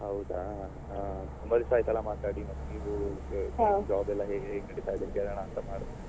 ಹೌದಾ ಆ ತುಂಬಾ ದಿವ್ಸ ಆಯ್ತಲ್ಲ ಮಾತಾಡಿ ನೀವು ಈಗ job ಎಲ್ಲ ಹೇಗೆ ನಡೀತಿದೆ ಅಂತ ಕೇಳೋಣ ಅಂತ ಮಾಡ್ದೆ.